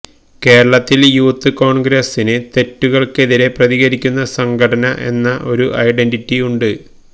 കേരളത്തില് യൂത്ത് കോണ്ഗ്രസിന് തെറ്റുകള്ക്കെതിരെ പ്രതികരിക്കുന്ന സംഘടന എന്ന ഒരു ഐഡന്റിറ്റി ഉണ്ട്